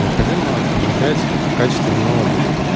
необходимо внедрять качественный отдых